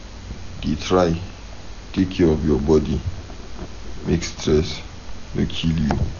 Dey try take care of your body, make stress no kill you.